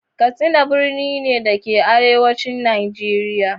Katsina birni ne, da ke arewacin Najeriya.